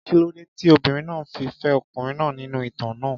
Kí ló dé tí obìnrin náà fi fẹ́ ọkùnrin náà nínú ìtàn náà?